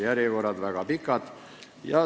Järjekorrad on väga pikad.